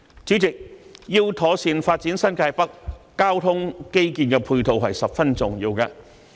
主席，要妥善發展新界北，交通基建的配套十分重要。